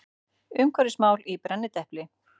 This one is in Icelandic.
Umhverfismál í brennidepli.